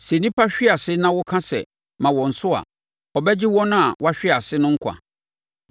Sɛ nnipa hwe ase na woka sɛ, ‘Ma wɔn so!’ a, ɔbɛgye wɔn a wɔahwe ase no nkwa.